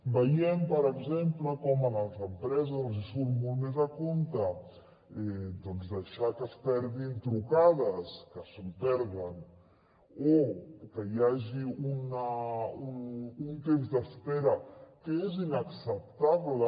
veiem per exemple com a les empreses els hi surt molt més a compte doncs deixar que es perdin trucades que se’n perden o que hi hagi un temps d’espera que és inacceptable